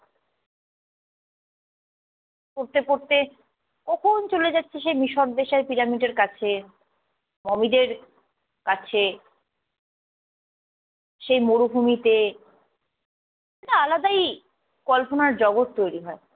পড়তে পড়তে, কখন চলে যাচ্ছি সেই মিশর দেশের পিরামিডের কাছে, মমিদের কাছে, সেই মরুভূমিতে আলাদাই কল্পনার জগৎ তৈরী হয়।